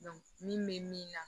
min bɛ min na